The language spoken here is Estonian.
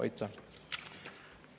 Aitäh!